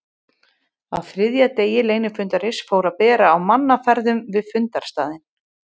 Á þriðja degi leynifundarins fór að bera á mannaferðum við fundarstaðinn.